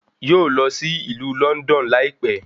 Yóò lọ sí ìlú Lọ́ndọ̀n láìpẹ́